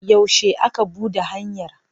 Yaushe aka buɗe hanyar?